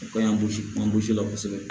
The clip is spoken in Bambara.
O ka ɲi an gosi mangosi la kosɛbɛ